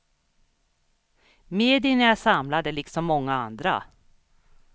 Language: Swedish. Medierna är samlade liksom många andra.